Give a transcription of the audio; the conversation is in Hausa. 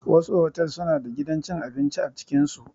Wasu otal suna da gidan cin abinci a cikin su.